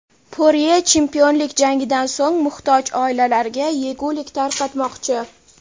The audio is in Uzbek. Porye chempionlik jangidan so‘ng muhtoj oilalarga yegulik tarqatmoqchi.